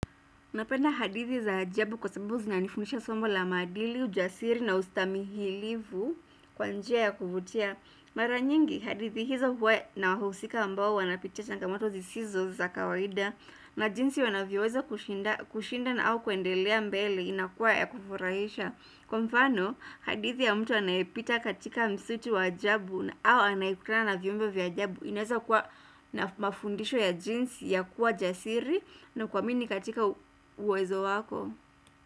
Napenda hadithi za ajabu kwa sababu zinanifundisha somo la maadili, ujasiri na ustamihilivu kwa njia ya kuvutia. Mara nyingi, hadithi hizo huwa na wahusika ambao wanapitia changamoto zisizo za kawaida na jinsi wanavyoweza kushinda na au kuendelea mbele inakuwa ya kufurahisha. Kwa mfano, hadithi ya mtu anayepita katika msitu wa ajabu na au anayekutana viumbe vya ajabu ineza kuwa na mafundisho ya jinsi ya kuwa jasiri na kuamini katika uwezo wako.